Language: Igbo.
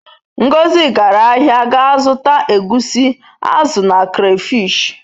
Ngozi gara ahia ga zuta egwusi, azu na crafish.